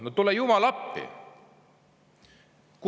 No tule jumal appi!